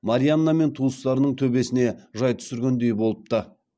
марианна мен туыстарының төбесіне жай түсіргендей болыпты